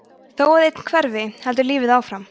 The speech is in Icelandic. þó að einn hverfi heldur lífið áfram